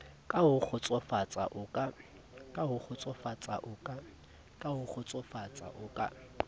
ka ho kgotsofatsa o ka